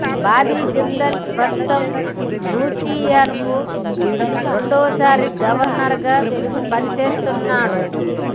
బాబీ జిందాల్ ప్రస్తుతం లూసియానా కు రెండో సారి గవర్నర్ గా పని చేస్తున్నాడు